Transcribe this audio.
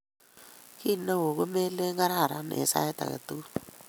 Kiy neoo komelen gararan eng sait age tugul